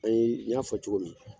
Ayi, n y'a fɔ cogo min na